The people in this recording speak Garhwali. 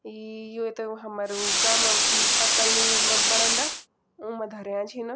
यी युत हमरु गांव म पत्तल नि बंणोदा उमा धार्यं छिन।